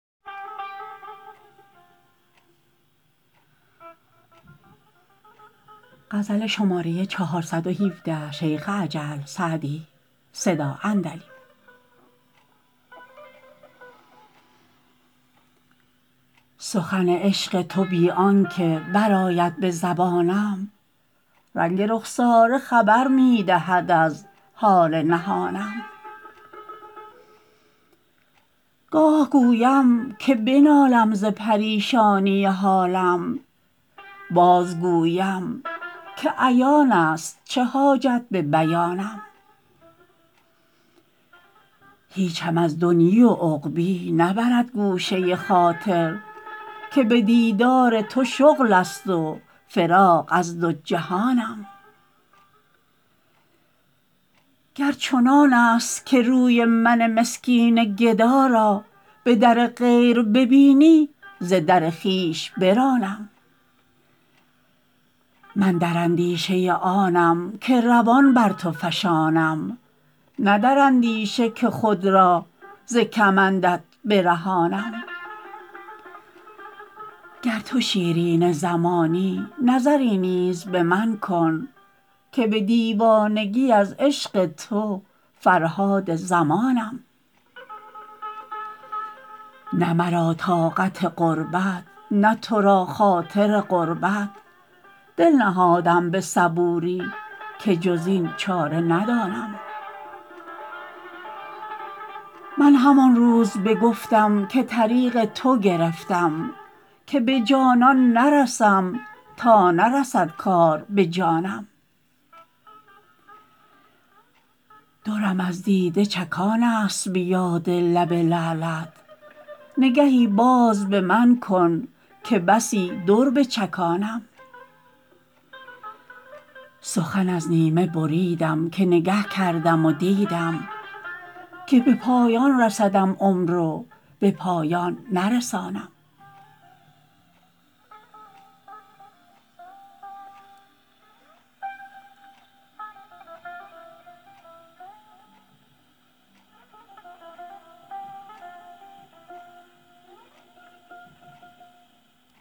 سخن عشق تو بی آن که برآید به زبانم رنگ رخساره خبر می دهد از حال نهانم گاه گویم که بنالم ز پریشانی حالم بازگویم که عیان است چه حاجت به بیانم هیچم از دنیی و عقبیٰ نبرد گوشه خاطر که به دیدار تو شغل است و فراغ از دو جهانم گر چنان است که روی من مسکین گدا را به در غیر ببینی ز در خویش برانم من در اندیشه آنم که روان بر تو فشانم نه در اندیشه که خود را ز کمندت برهانم گر تو شیرین زمانی نظری نیز به من کن که به دیوانگی از عشق تو فرهاد زمانم نه مرا طاقت غربت نه تو را خاطر قربت دل نهادم به صبوری که جز این چاره ندانم من همان روز بگفتم که طریق تو گرفتم که به جانان نرسم تا نرسد کار به جانم درم از دیده چکان است به یاد لب لعلت نگهی باز به من کن که بسی در بچکانم سخن از نیمه بریدم که نگه کردم و دیدم که به پایان رسدم عمر و به پایان نرسانم